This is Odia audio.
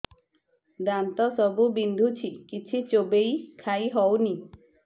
ଦାନ୍ତ ସବୁ ବିନ୍ଧୁଛି କିଛି ଚୋବେଇ ଖାଇ ହଉନି